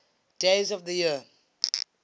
days of the year